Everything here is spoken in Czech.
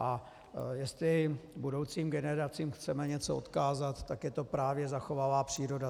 A jestli budoucím generacím chceme něco odkázat, tak je to právě zachovalá příroda.